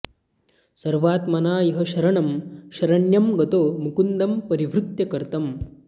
सर्वात्मना यः शरणं शरण्यं गतो मुकुन्दं परिहृत्य कर्तम्